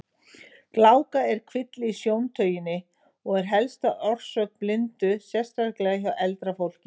Gláka er kvilli í sjóntauginni og er helsta orsök blindu, sérstaklega hjá eldra fólki.